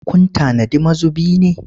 Kun tanadi mazubi ne?